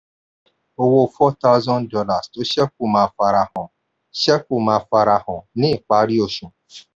owó four thousand dollars tó ṣẹ́kù máa farahàn ṣẹ́kù máa farahàn ní ìparí oṣù.